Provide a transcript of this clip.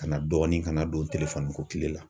Ka na dɔɔnin ka na don kile la.